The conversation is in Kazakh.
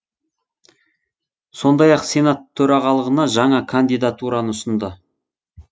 сондай ақ сенат төрағалығына жаңа кандидатураны ұсынды